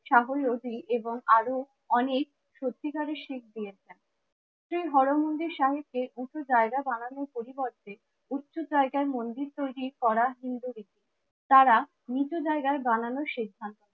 সাগর লোধি এবং আরো অনেক সত্তিকারের শিখ নিয়েছেন। শ্রী হর মন্দির শাহেবদের উঁচু জায়গা বানানোর পরিবর্তে উচ্ছ জায়গায় মন্দির তৈরী করা হিন্দি তারা মৃত জায়গায় বানানোর সিদ্ধান্ত